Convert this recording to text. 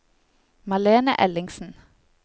Malene Ellingsen